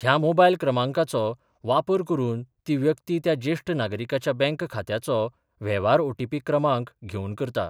ह्या मोबायल क्रमांकाचो वापर करून ती व्यक्ती त्या जेष्ठ नागरिकाच्या बँक खात्याचो वेव्हार ओटीपी क्रमांक घेवन करता.